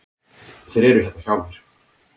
Þeir eru hérna hjá mér.